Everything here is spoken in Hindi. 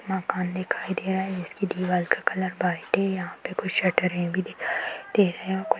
मकान दिखाई दे रहा है इस की दीवाल का कलर वाईट है यहाँ पे कुछ शटर है भी दिखाई दे रहे है कुछ--